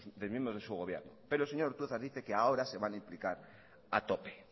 de miembros de su gobierno pero el señor ortuzar dice que ahora se van a implicar a tope